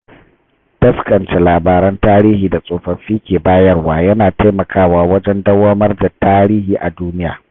Taskance labaran tarihi da tsofaffi ke bayarwa yana taimakawa wajen dauwamar tarihi a duniya.